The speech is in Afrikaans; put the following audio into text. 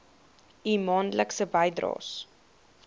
u maandelikse bydraes